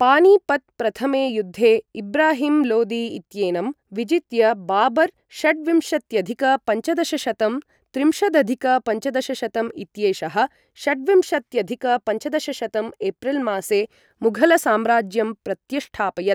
पानीपत् प्रथमे युद्धे इब्राहिम् लोदी इत्येनं विजित्य, बाबर् षड्विंशत्यधिक पञ्चदशशतं त्रिंशदधिक पञ्चदशशतं इत्येषः, षड्विंशत्यधिक पञ्चदशशतं एप्रिल् मासे, मुघल् साम्राज्यं प्रत्यष्ठापयत्।